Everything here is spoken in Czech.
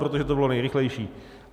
Protože to bylo nejrychlejší.